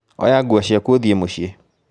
Oya nguo ciaku uthiĩ mũciĩ